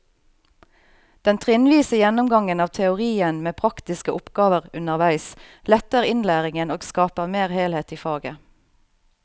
Den trinnvise gjennomgangen av teorien med praktiske oppgaver underveis letter innlæringen og skaper mer helhet i faget.